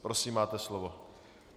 Prosím, máte slovo.